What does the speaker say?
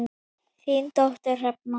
Þín dóttir Hrefna.